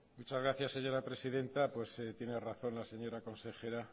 muchas gracias señora presidenta pues tiene razón la señora consejera